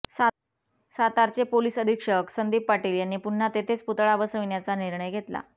सातारचे पोलीस अधीक्षक संदीप पाटील यांनी पुन्हा तेथेच पुतळा बसविण्याचा निर्णय घेतला